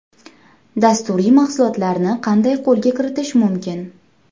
Dasturiy mahsulotlarni qanday qo‘lga kiritish mumkin?